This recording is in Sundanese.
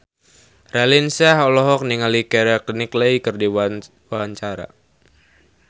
Raline Shah olohok ningali Keira Knightley keur diwawancara